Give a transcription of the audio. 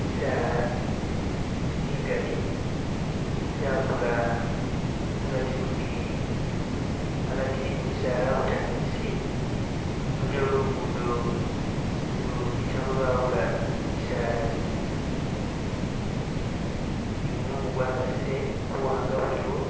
Misaala migaali gyakula agati mu tsingingi , agati we gimisaala abutangisi waliyo lugudo ulu bitamo lwawula misaala ekyi ne gumumu gwa kasile buwanga buliwo,